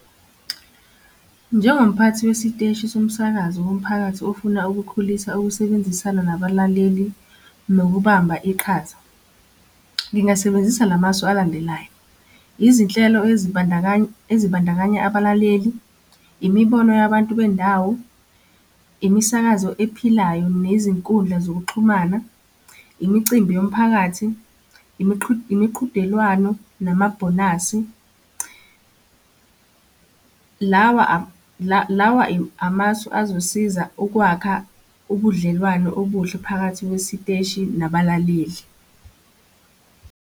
Njengomphathi wesiteshi somsakazo womphakathi ofuna ukukhulisa ukusebenzisana nabalaleli nokubamba iqhaza. Ngingasebenzisa la masu alandelayo. Izinhlelo ezibandakanya ezibandakanya abalaleli, imibono yabantu bendawo, imisakazo ephilayo nezinkundla zokuxhumana, imicimbi yomphakathi, imiqhudelwano, namabhonasi. Lawa lawa amasu azosiza ukwakha ubudlelwano obuhle phakathi kwesiteshi nabalaleli.